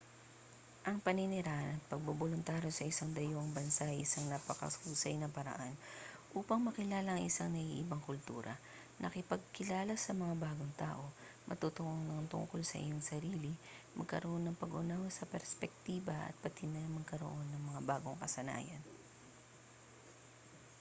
ang paninirahan at pagboboluntaryo sa isang dayuhang bansa ay isang napakahusay na paraan upang makilala ang isang naiibang kultura makipagkilala sa mga bagong tao matuto ng tungkol sa iyong sarili magkaroon ng pag-unawa sa perspektiba at pati na magkaroon ng mga bagong kasanayan